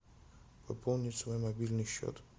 пополнить свой мобильный счет